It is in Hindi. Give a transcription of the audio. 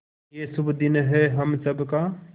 ये शुभ दिन है हम सब का